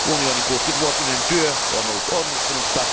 Unionin 60 vuotinen työ on ollut onnistunutta.